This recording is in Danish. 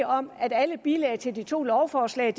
om at alle bilag til de to lovforslag